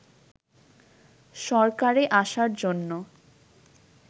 সরকারে আসার জন্য